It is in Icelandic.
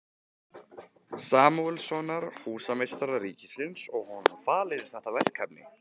Samúelssonar, húsameistara ríkisins, og honum falið þetta verkefni.